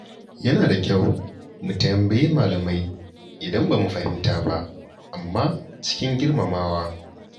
Yana da kyau mu tambayi malamai idan ba mu fahimta ba, amma cikin girmamawa.